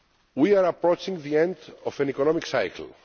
We are approaching the end of an economic cycle.